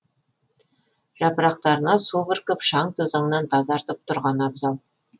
жапырақтарына су бүркіп шаң тозаңнан тазартып тұрған абзал